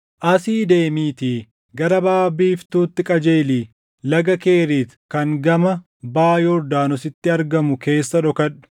“Asii deemiitii gara baʼa biiftuutti qajeelii Laga Keriit kan gama baʼa Yordaanositti argamu keessa dhokadhu.